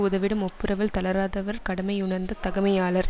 உதவிடும் ஒப்புரவில் தளராதவர் கடமையுணர்ந்த தகமையாளர்